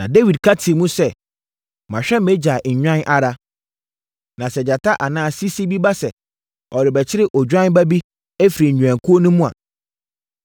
Na Dawid ka tii mu sɛ, “Mahwɛ mʼagya nnwan ara, na sɛ gyata anaa sisi bi ba sɛ ɔrebɛkyere odwan ba bi afiri nnwankuo no mu a,